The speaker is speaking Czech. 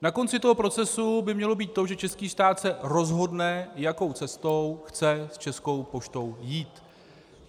Na konci toho procesu by mělo být to, že český stát se rozhodne, jakou cestou chce s Českou poštou jít.